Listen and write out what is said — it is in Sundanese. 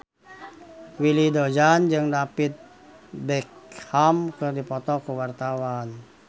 Willy Dozan jeung David Beckham keur dipoto ku wartawan